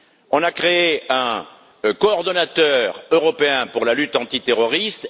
On a créé un coordonnateur européen pour la lutte antiterroriste.